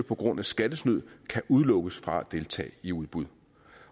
på grund af skattesnyd kan udelukkes fra at deltage i udbud